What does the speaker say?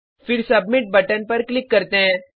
फिर submit button पर click करते हैं